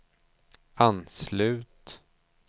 anslut